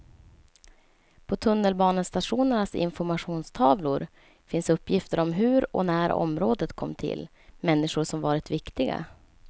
På tunnelbanestationernas informationstavlor finns uppgifter om hur och när området kom till, människor som varit viktiga.